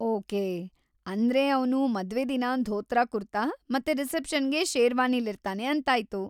Okay, ಅಂದ್ರೆ ಅವ್ನು ಮದ್ವೆದಿನ ಧೋತ್ರ ಕುರ್ತಾ ಮತ್ತೆ ರಿಸೆಪ್ಷನ್‌ಗೆ ಶೇರ್ವಾನಿಲಿರ್ತಾನೆ ಅಂತಾಯ್ತು.